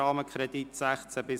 Rahmenkredit 2016–2019 […]».